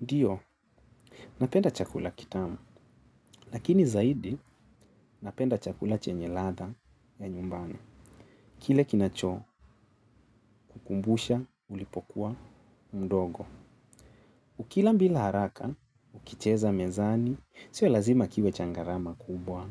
Ndiyo, napenda chakula kitamu, lakini zaidi napenda chakula chenye ladha ya nyumbani. Kile kinachokukumbusha ulipokuwa mdogo. Ukila bila haraka, ukicheza mezani, sio lazima kiwe cha gharama kubwa,